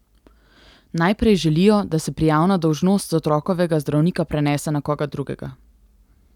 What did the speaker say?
Najprej želijo, da se prijavna dolžnost z otrokovega zdravnika prenese na koga drugega.